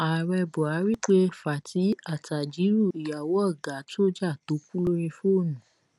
ààrẹ buhari pe fati attahírù ìyàwó ọ̀gá sójà tó kù lórí fóònù